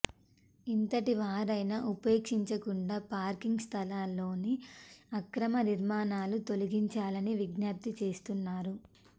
ఎంతటి వారైనా ఉపేక్షించకుండా పార్కింగ్ స్థలాల్లోని అక్రమ నిర్మాణాలను తొలగించాలని విజ్ఞప్తి చేస్తున్నారు